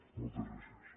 moltes gràcies